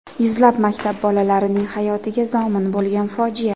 Yuzlab maktab bolalarining hayotiga zomin bo‘lgan fojia.